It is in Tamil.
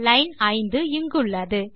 லைன் 5 இங்குள்ளது